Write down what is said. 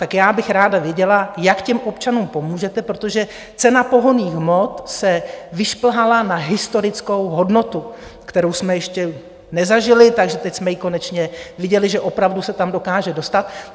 Tak já bych ráda věděla, jak těm občanům pomůžete, protože cena pohonných hmot se vyšplhala na historickou hodnotu, kterou jsme ještě nezažili, takže teď jsme ji konečně viděli, že opravdu se tam dokáže dostat.